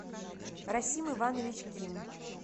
расим иванович ким